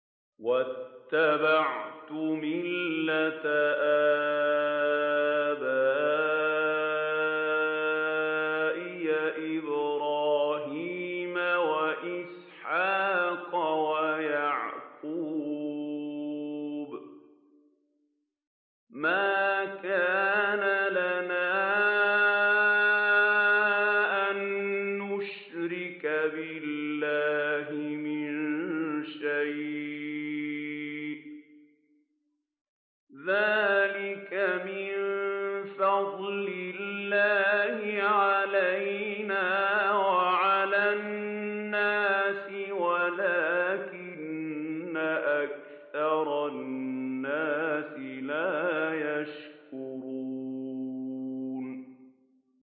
وَاتَّبَعْتُ مِلَّةَ آبَائِي إِبْرَاهِيمَ وَإِسْحَاقَ وَيَعْقُوبَ ۚ مَا كَانَ لَنَا أَن نُّشْرِكَ بِاللَّهِ مِن شَيْءٍ ۚ ذَٰلِكَ مِن فَضْلِ اللَّهِ عَلَيْنَا وَعَلَى النَّاسِ وَلَٰكِنَّ أَكْثَرَ النَّاسِ لَا يَشْكُرُونَ